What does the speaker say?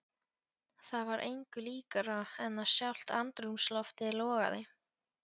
Það var engu líkara en að sjálft andrúmsloftið logaði.